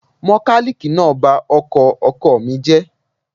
Mọkálíìkì náà ba ọkọ̀ ọkọ mi jẹ́